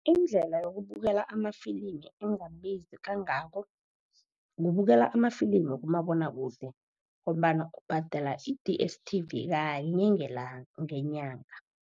Indlela yokubukela amafilimu engabizi kangako kubukela ama-film kumabonwakude, ngombana ubhadela i-D_S_T_V kanye ngenyanga.